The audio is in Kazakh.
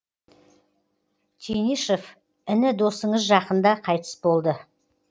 тенишев іні досыңыз жақында қайтыс болды